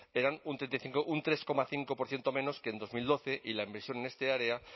eran un tres coma cinco por ciento menos que en dos mil doce y la inversión en este área